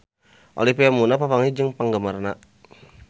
Olivia Munn papanggih jeung penggemarna